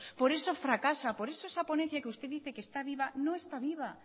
por eso fracasa por eso esa ponencia que usted dice que está viva no está viva